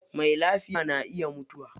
Mai lafiya na iya mutuwa.